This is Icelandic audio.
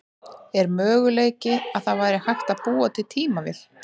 Er möguleiki að það væri hægt að búa til tímavél?